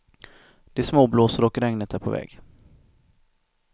Det småblåser och regnet är på väg.